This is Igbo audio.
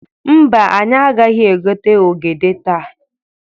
Mba, anyị agaghị egote ogede taa.